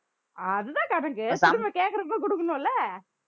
அதுதான் கணக்கு திரும்ப கேக்கறப்போ குடுக்கணும் இல்ல